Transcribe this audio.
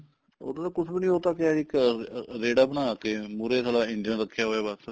ਉੱਦਾਂ ਤਾਂ ਕੁੱਛ ਵੀ ਨੀ ਉਹ ਤਾਂ ਕਿਆ ਜੀ ਇੱਕ ਰੇੜਾ ਬਣਾ ਕੇ ਮੁਹਰੇ ਸਾਲਾ ਇੰਜਣ ਰੱਖਿਆ ਹੁੰਦਾ ਬੱਸ